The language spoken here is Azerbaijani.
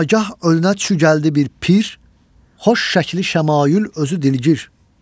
Nagah önünə çü gəldi bir pir, xoş şəkli şəmaü, özü dilgir.